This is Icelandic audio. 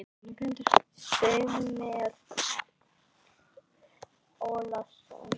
Samúel Karl Ólason.